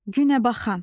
Günəbaxan.